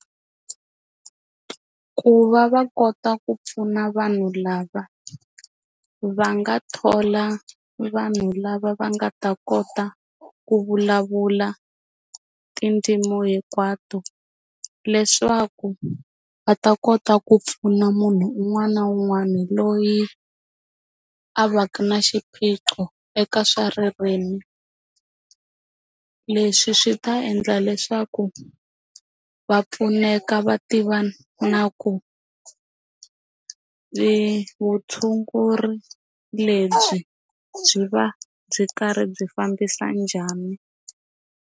Ku va va kota ku pfuna vanhu lava va nga thola vanhu lava va nga ta kota ku vulavula tindzimu hinkwato leswaku va ta kota ku pfuna munhu un'wana na un'wana loyi a va ka xiphiqo eka swa ririmi leswi swi ta endla leswaku va pfuneka va tiva na ku vutshunguri lebyi byi va byi karhi byi fambisa njhani.